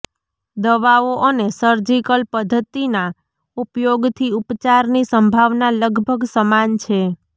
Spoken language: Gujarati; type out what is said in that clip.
દવાઓ અને સર્જિકલ પદ્ધતિના ઉપયોગથી ઉપચારની સંભાવના લગભગ સમાન છે